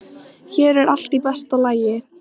Hér er allt í besta lagi.